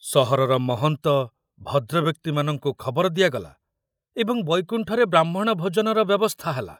ସହରର ମହନ୍ତ, ଭଦ୍ରବ୍ୟକ୍ତିମାନଙ୍କୁ ଖବର ଦିଆଗଲା ଏବଂ ବୈକୁଣ୍ଠରେ ବ୍ରାହ୍ମଣ ଭୋଜନର ବ୍ୟବସ୍ଥା ହେଲା।